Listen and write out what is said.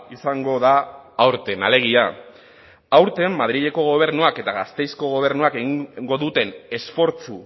izango da aurten alegia aurten madrileko gobernuak eta gasteizko gobernuak egingo duten esfortzu